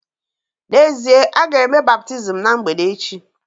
N’ezie, a ga-eme baptizim ná mgbede echi